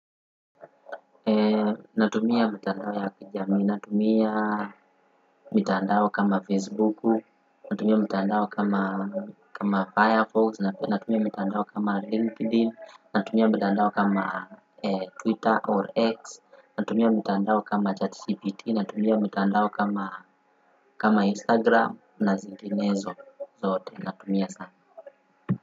Natumia mitandao ya kijami, natumia mitandao kama Facebook, natumia mitandao kama Firefox, natumia mitandao kama LinkedIn, natumia mitandao kama Twitter or X, natumia mitandao kama ChatGPT, natumia mitandao kama kama Instagram na zinginezo zote natumia sana.